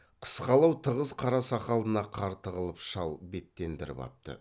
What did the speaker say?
қысқалау тығыз қара сақалына қар тығылып шал беттендіріп апты